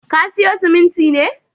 Ka siyo siminti ne?